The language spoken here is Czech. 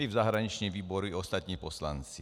My v zahraničním výboru i ostatní poslanci.